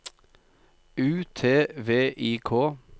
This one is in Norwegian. U T V I K